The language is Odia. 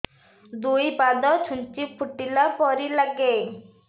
ଦୁଇ ପାଦ ଛୁଞ୍ଚି ଫୁଡିଲା ପରି ଲାଗେ